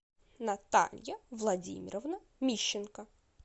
наталья владимировна мищенко